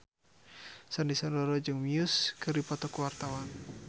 Sandy Sandoro jeung Muse keur dipoto ku wartawan